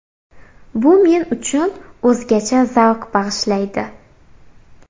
Bu men uchun o‘zgacha zavq bag‘ishlaydi.